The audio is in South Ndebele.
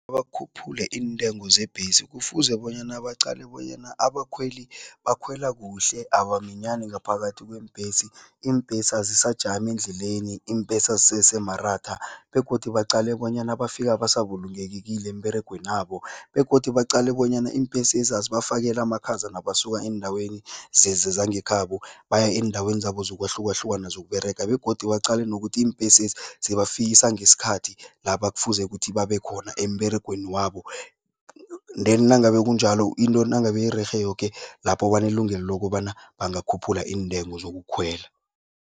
Bakhuphule iintengo zebhesi. Kufuze bonyana baqale bonyana abakhweli bakhwela kuhle abaminyani ngaphakathi kweembhesi, iimbhesi azisajami endleleni, iimbhesi azisese maratha begodu baqale bonyana bafika basa bulungekile emberegwenabo begodu baqale bonyana iimbhesezi azibafakeli amakhaza nabasuka eendaweni zangekhabo baya eendaweni zabo zokwahlukahlukana zokUberega begodu baqale nokuthi iimbhesezi zibafikisa ngesikhathi lapha kufuze ukuthi babe khona, emberegweni wabo, then nangabe kunjalo, into nangabe irerhe yoke, lapho banelungelo lokobana kungakhuphula iintengo zokukhwela.